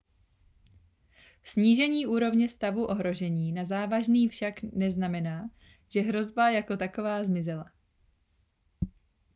snížení úrovně stavu ohrožení na závažný však neznamená že hrozba jako taková zmizela